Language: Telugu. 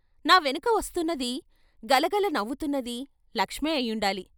నా వెనక వస్తున్నదీ, గలగల నవ్వుతున్నదీ లక్ష్మే అయ్యుండాలి.